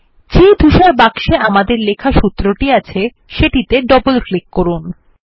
যে ধূসর বাক্সে আমাদের লেখা সূত্রটি আছে সেটিতে ডবল ক্লিক করুন